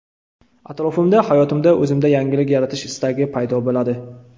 Atrofimda, hayotimda, o‘zimda yangilik yaratish istagi paydo bo‘ladi.